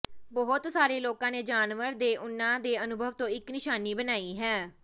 ਬਹੁਤ ਸਾਰੇ ਲੋਕਾਂ ਨੇ ਜਾਨਵਰਾਂ ਦੇ ਉਨ੍ਹਾਂ ਦੇ ਅਨੁਭਵ ਤੋਂ ਇੱਕ ਨਿਸ਼ਾਨੀ ਬਣਾਈ ਹੈ